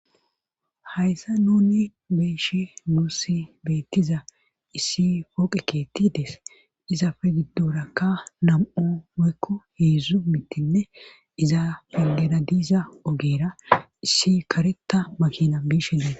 hayssa nuni beeshe nuussi beettiza issi pooqe keetti dees izafe giddorakka nam7u meykko heedzdzu mittinne iza felera diiza ogeera issi kareta makina biishenlees